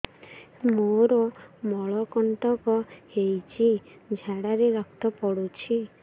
ମୋରୋ ମଳକଣ୍ଟକ ହେଇଚି ଝାଡ଼ାରେ ରକ୍ତ ପଡୁଛି